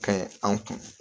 Ka ɲi an kun